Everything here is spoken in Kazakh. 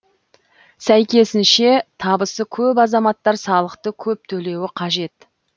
сәйкесінше табысы көп азаматтар салықты көп төлеуі қажет